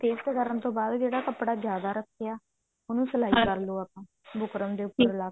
paste ਕਰਨ ਤੋਂ ਬਾਅਦ ਜਿਹੜਾ ਕੱਪੜਾ ਜਿਆਦਾ ਰੱਖਿਆ ਉਹਨੂੰ ਸਲਾਈ ਕਰਲੋ ਬੁਕਰਮ ਦੇ ਉੱਪਰ ਲਾ ਕੇ